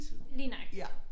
Lige nøjagtig